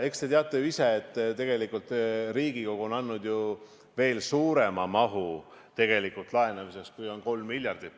Eks te teate ju ise, et Riigikogu on andnud ju veel suurema mahu tegelikult laenamiseks, kui on 3 miljardit.